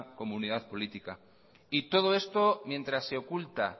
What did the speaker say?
comunidad política y todo esto mientras se oculta